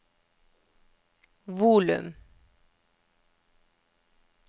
volum